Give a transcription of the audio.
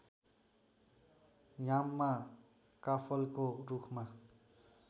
याममा काफलको रुखमा